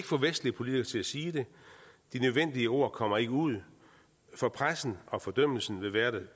få vestlige politikere til at sige det de nødvendige ord kommer ikke ud for pressen og fordømmelsen vil være